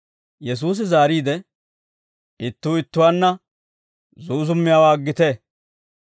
Yesuusi zaariide, «Ittuu ittuwaanna zuuzummiyaawaa aggite.